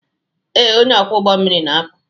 Ee, onye ọkwọ ụgbọ mmiri na-apụ.